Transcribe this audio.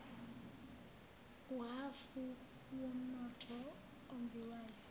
uhhafu womnotho ombiwayo